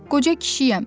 Qoca kişiyəm.